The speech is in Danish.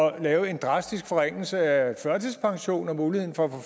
at lave en drastisk forringelse af førtidspensionen muligheden for at